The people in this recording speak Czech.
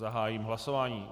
Zahájím hlasování.